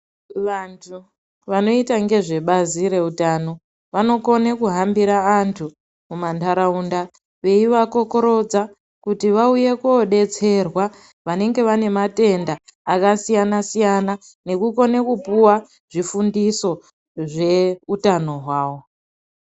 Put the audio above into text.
Vantu vanoita ngezvebazi reutano vanokone kuhambira antu mumantaraunda veivakookokorodza kutu vauye koodetserwa. Vanenge vanematenda akasiyana-siyana. Nekukone kupuwa zvifundiso zveutano hwavo.